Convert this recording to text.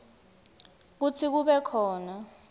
kutsi kube khona